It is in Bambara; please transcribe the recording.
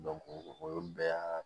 o ye bɛɛ y'a